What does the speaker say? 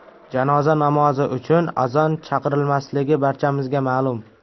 Janoza namozi uchun azon chaqirilmasligi barchamizga ma’lum.